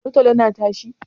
Tolo-tolo na tashi?